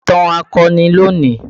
Ka ìtàn akọni lónìí!